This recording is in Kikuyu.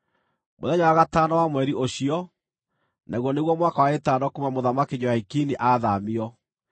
Mũthenya wa gatano wa mweri ũcio, naguo nĩguo mwaka wa ĩtano kuuma Mũthamaki Jehoiakini athaamio,